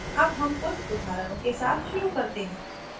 अब हम कुछ उदाहरणों के साथ शुरू करते हैं